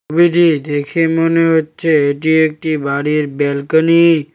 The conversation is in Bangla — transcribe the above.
ছবিটি দেখে মনে হচ্ছে এটি একটি বাড়ির ব্যালকানি ।